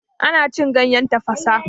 Ana cin ganyen tafasa.